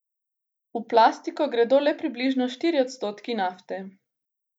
V plastiko gredo le približno štirje odstotki nafte.